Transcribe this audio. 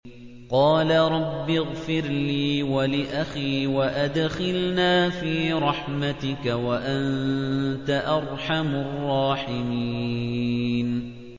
قَالَ رَبِّ اغْفِرْ لِي وَلِأَخِي وَأَدْخِلْنَا فِي رَحْمَتِكَ ۖ وَأَنتَ أَرْحَمُ الرَّاحِمِينَ